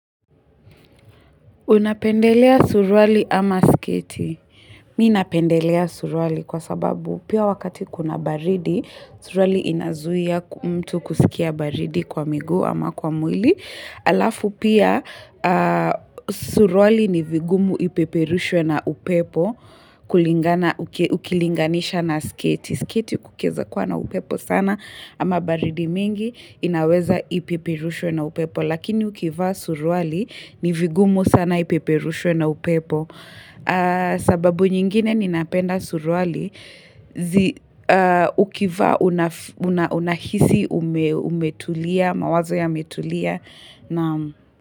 Unapendelea suruali ama sketi? Mi napendelea suruali kwa sababu pia wakati kuna baridi, suruali inazuia mtu kusikia baridi kwa miguu ama kwa mwili. hAlafu pia suruali ni vigumu ipeperushwe na upepo ukilinganisha na sketi. Sketi kukiweza kuwa na upepo sana ama baridi mingi inaweza ipeperushwe na upepo. Lakini ukivaa suruali nivigumu sana ipeperushwe na upepo. Sababu nyingine ninapenda suruali. Ukivaa unahisi umetulia mawazo yametulia.